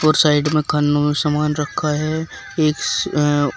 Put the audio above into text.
और साइड में खानो मे सामान रखा है इस अ--